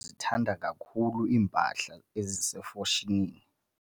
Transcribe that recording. luzithanda kakhulu iimpahla ezisefashonini.